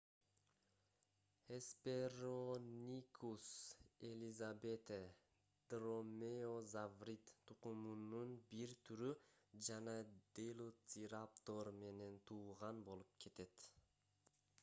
hesperonychus elizabethae дромеозаврид тукумунун бир түрү жана делоцираптор менен тууган болуп кетет